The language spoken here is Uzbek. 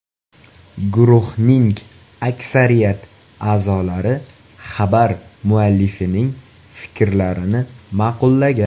Guruhning aksariyat a’zolari xabar muallifining fikrlarini ma’qullagan.